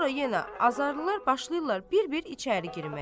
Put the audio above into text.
Sonra yenə azarlılar başlayırlar bir-bir içəri girməyə.